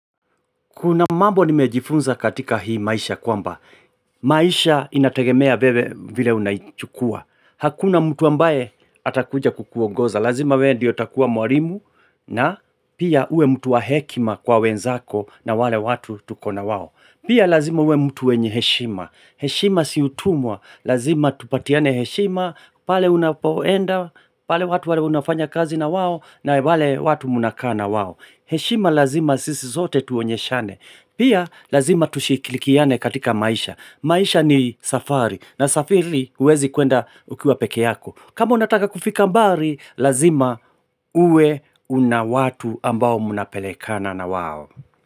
Kuna mambo nimejifunza katika hii maisha kwamba, maisha inategemea wewe vile unaichukua, hakuna mtu ambaye atakuja kukuongoza, lazima we ndio utakuwa mwalimu na pia uwe mtu wa hekima kwa wenzako na wale watu tuko na wao. Pia lazima uwe mtu mwenye heshima. Heshima si utumwa lazima tupatiane heshima pale unapoenda pale watu wale unafanya kazi na wao na wale watu mnakaa na wao heshima lazima sisi sote tuonyeshane pia lazima tushirikiane katika maisha maisha ni safari ma msafiri huwezi kuenda ukiwa pekee yako, kama unataka kufika mbali Lazima uwe una watu ambao mnapelekana na wao.